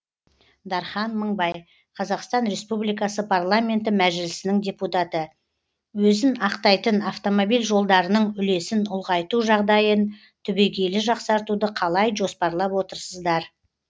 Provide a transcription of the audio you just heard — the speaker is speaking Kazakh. дархан мыңбай қр парламенті мәжілісінің депутаты өзін ақтайтын автомобиль жолдарының үлесін ұлғайту жағдайын түбегейлі жақсартуды қалай жоспарлап отырсыздар